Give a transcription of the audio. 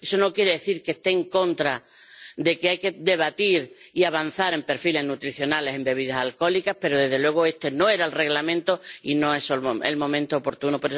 Eso no quiere decir que esté en contra de que haya que debatir y avanzar en perfiles nutricionales en bebidas alcohólicas, pero, desde luego, este no era el reglamento y no es el momento oportuno.